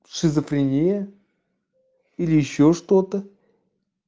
шизофрения или ещё что-то